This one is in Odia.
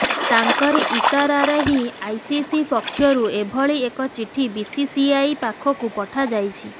ତାଙ୍କରି ଇସାରାରେ ହିଁ ଆଇସିସି ପକ୍ଷରୁ ଏଭଳି ଏକ ଚିଠି ବିସିସିଆଇ ପାଖକୁ ପଠାଯାଇଛି